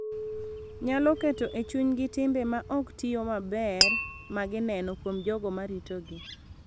Nyalo keto e chunygi timbe ma ok tiyo maber ma gineno kuom jogo ma ritogi,